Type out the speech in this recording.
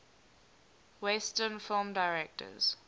western film directors